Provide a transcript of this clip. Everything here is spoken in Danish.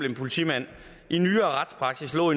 en politimand i nyere retspraksis lå